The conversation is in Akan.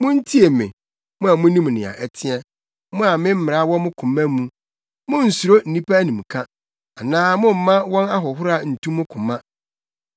“Muntie me, mo a munim nea ɛteɛ, mo a me mmara wɔ mo koma mu: Munnsuro nnipa animka anaa momma wɔn ahohora ntu mo koma.